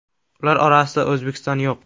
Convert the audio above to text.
Ular orasida O‘zbekiston yo‘q.